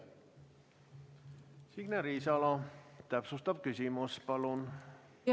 Signe Riisalo, täpsustav küsimus palun!